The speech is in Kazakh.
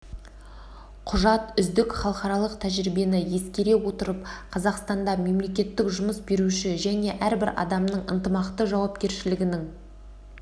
құжат үздік халықаралық тәжірибені ескере отырып қазақстанда мемлекет жұмыс беруші және әрбір адамның ынтымақты жауапкершілігінің